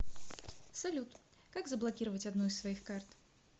салют как заблокировать одну из своих карт